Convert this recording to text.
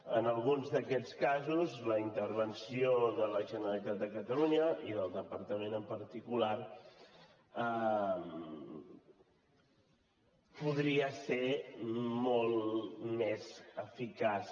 en alguns d’aquests casos la intervenció de la generalitat de catalunya i del departament en particular podria ser molt més eficaç